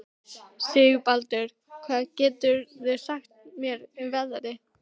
Sigurbaldur, hvað geturðu sagt mér um veðrið?